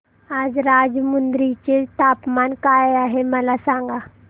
आज राजमुंद्री चे तापमान काय आहे मला सांगा